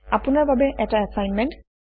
আপোনাৰ বাবে এটা এছাইনমেণ্ট